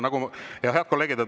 Head kolleegid!